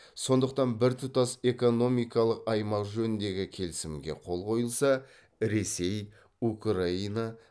сондықтан біртұтас экономикалық аймақ жөніндегі келісімге қол қойылса ресей украина